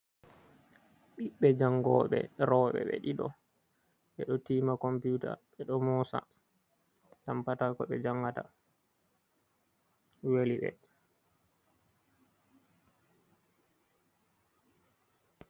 Ɓiɓbe jangoɓe roɓe ɓe ɗiɗo ɓe ɗo tima computa ɓe ɗo mosa tampata ko ɓe jangata weliɓe.